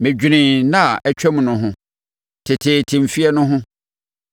Medwenee nna a atwam no ho, teteete mfeɛ no ho;